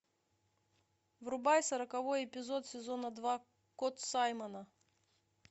врубай сороковой эпизод сезона два кот саймона